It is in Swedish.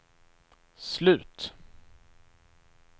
slut